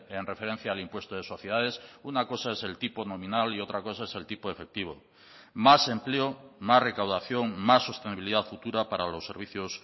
en referencia al impuesto de sociedades una cosa es el tipo nominal y otra cosa es el tipo efectivo más empleo más recaudación más sostenibilidad futura para los servicios